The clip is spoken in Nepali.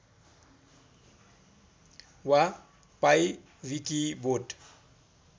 वा पाइविकिबोट